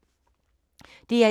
DR1